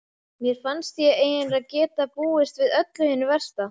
Mér fannst ég eiginlega geta búist við öllu hinu versta.